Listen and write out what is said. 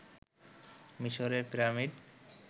মিশরের পিরামিড